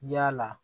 Yaala